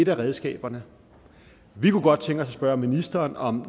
af redskaberne vi kunne godt tænke os at spørge ministeren om